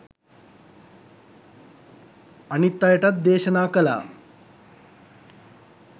අනිත් අයටත් දේශනා කළා